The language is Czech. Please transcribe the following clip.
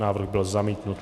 Návrh byl zamítnut.